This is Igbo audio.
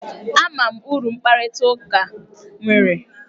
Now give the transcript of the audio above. Ama m uru mkparịta ụka nwere.